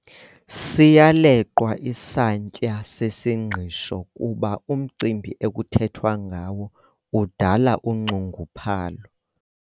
Siyaleqwa isantya sesingqisho kuba umcimbi ekuthethwa ngawo udala unxunguphalo.